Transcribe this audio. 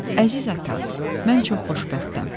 Əziz ata, mən çox xoşbəxtəm.